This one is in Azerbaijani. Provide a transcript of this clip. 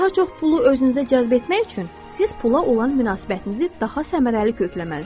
Daha çox pulu özünüzə cəzb etmək üçün siz pula olan münasibətinizi daha səmərəli kökləməlisiz.